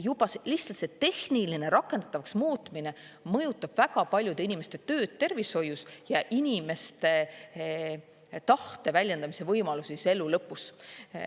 Juba lihtsalt see tehniline rakendatavaks muutmine mõjutab väga paljude inimeste tööd tervishoius ja inimeste tahte väljendamise võimalusi elu lõpus.